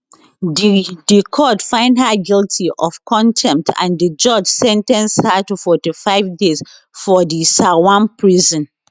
di di court find her guilty of contempt and di judge sen ten ce her to 45 days for di nsawam prison